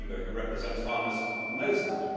Any Member who represents farmers knows that.